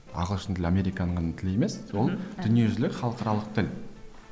ағылшын тілі американың ғана тілі емес ол дүниежүзілік халықаралық тіл